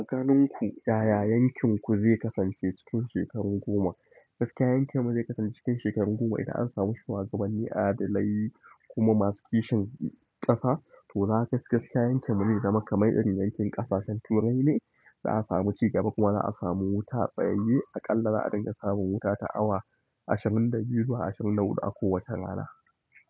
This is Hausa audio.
Aganinku, yaya yankinku zai kasance cikin shekaru goma? Gaskiya yankinmu zai kasance cikin shekaru goma idan ansamu shugabanni adalai kuma masu kishin ƙasa to gaskiya yankinmu zai zama kaman irin yankin ƙasashen Turai ne za'a samu cigaba kuma za'a samu wuta tsayaye aƙalla za'a dinga samun wuta ta awa ashirin da biyu zuwa ashirin da huɗu a kowace rana.